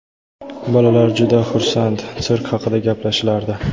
Bolalar juda xursand, sirk haqida gaplashishardi.